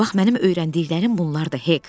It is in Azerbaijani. Bax, mənim öyrəndiklərim bunlardır, Hek.